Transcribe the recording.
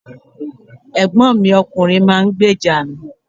Ẹ̀gbọ́n mi ọkùnrin máa ń gbèjà mi.